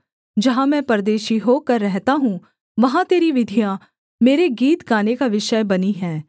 जहाँ मैं परदेशी होकर रहता हूँ वहाँ तेरी विधियाँ मेरे गीत गाने का विषय बनी हैं